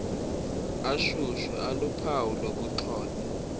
ashushu aluphawu lokuxhonywa